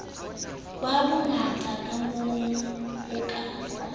ba bangata kamoo ho ka